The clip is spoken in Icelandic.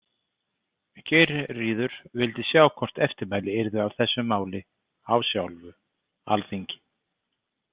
Geirríður vildi sjá hvort eftirmæli yrðu af þessu máli á sjálfu alþingi.